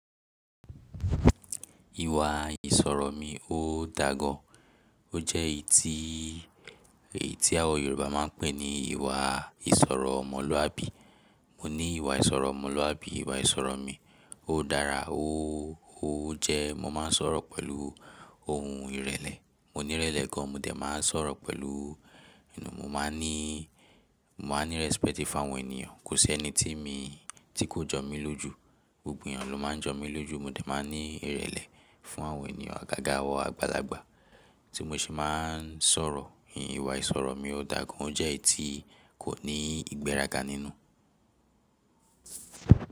Ìwà ìsọ̀rọ̀ mi ò dà gan ó jẹ́ eyi tí, èyí tí àwọn Yorùbá máa ń pè ní ìwà ìsọ̀rọ̀ mọ̀lúàbí. Mo ní ìwà ìsọ̀rọ̀ mọ̀lúàbí, ìwà ìsọ̀rọ̀ mi ò dára, ó, ó jẹ́ mo máa ń sọ̀rọ̀ pẹ̀lú ohùn ìrẹ̀lẹ̀. Mo ní ìrẹ̀lẹ̀ gan, mo dẹ̀ máa ń sọ̀rọ̀ pẹ̀lú, ẹnu ò, mo máa ní, mo máa ní respect fún àwọn ènìyàn. Kò sí ẹni tí mi, tí kò jọ mí lójú, gbogbo ènìyàn ló máa ń jọ mí lójú. Mo dẹ̀ máa ń ní ìrẹ̀lẹ̀ fún àwọn ènìyàn, àgàgà, àwọn àgbàlagbà tí mo ṣe máa ń sọ̀rọ̀. Ìwà ìsọ̀rọ̀ mi ò dà gan, ó jẹ́ eyi tí kò ní ìgbéraga nínú.